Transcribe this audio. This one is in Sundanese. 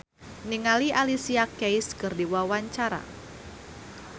Surya Saputra olohok ningali Alicia Keys keur diwawancara